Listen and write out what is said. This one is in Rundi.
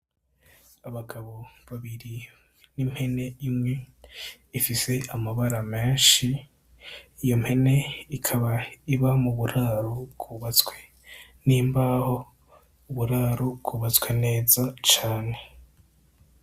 Abagabo babiri n'impene imwe ifise amabara menshi, iyo mpene ikaba iba mu buraro bwubatswe n'imbaho, uburaro bwubatswe neza cane.